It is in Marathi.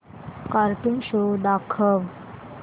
कार्टून शो दाखव